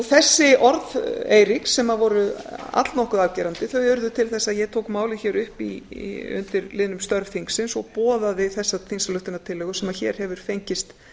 þessi orð eiríks sem voru allnokkuð afgerandi þau urðu til þess að ég tók málið hér upp undir liðnum störf þingsins og boðaði þessa þingsályktunartillögu sem hér hefur fengist